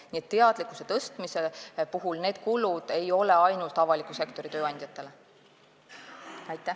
Nii et teadlikkuse tõstmise kulud ei lähe ainult avaliku sektori tööandjate heaks.